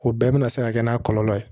O bɛɛ bɛna se ka kɛ n'a kɔlɔlɔ ye